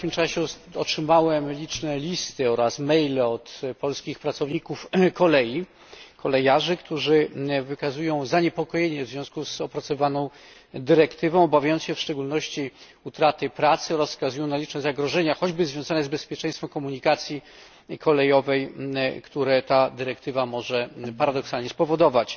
W ostatnim czasie otrzymałem liczne listy oraz e maile od polskich pracowników kolei, kolejarzy, którzy wykazują zaniepokojenie w związku z opracowywaną dyrektywą, obawiając się w szczególności utraty pracy oraz wskazują na liczne zagrożenia, choćby związane z bezpieczeństwem komunikacji kolejowej, które ta dyrektywa może paradoksalnie spowodować.